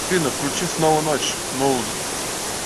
афина включи снова ночь мулз